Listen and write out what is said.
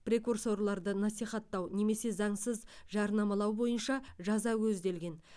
прекурсорларды насихаттау немесе заңсыз жарнамалау бойынша жаза көзделген